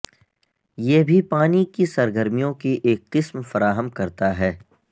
یہ بھی پانی کی سرگرمیوں کی ایک قسم فراہم کرتا ہے